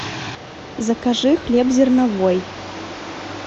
закажи хлеб зерновой